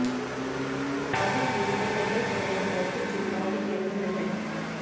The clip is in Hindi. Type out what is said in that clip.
खाद्य कीमतें लंबे समय से मौद्रिक चिंताओं के केंद्र में हैं